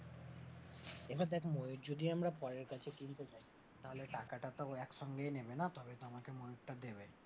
এবার দেখ ময়ূর যদি আমরা পরের কাছে কিনতে যাই তাহলে টাকাটা তো একসঙ্গেই নেবে না, তবে তো আমাকে ময়ূরটা দেবে?